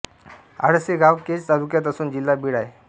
आडस हे गाव केज तालुक्यात असून जिल्हा बीड आहे